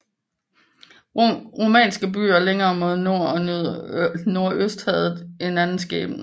Romerske byer længere mod nord og nordøst havde en anden skæbne